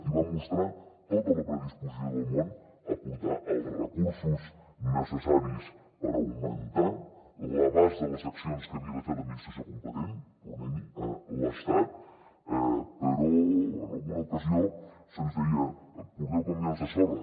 i vam mostrar tota la predisposició del món a aportar els recursos necessaris per augmentar l’abast de les accions que havia de fer l’administració competent tornem hi l’estat però en alguna ocasió se’ns deia porteu camions de sorra